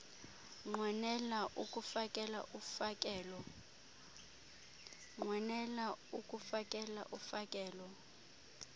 unqwenela ukufakela ufakelo